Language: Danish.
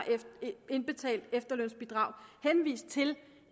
indbetalt efterlønsbidrag henvist til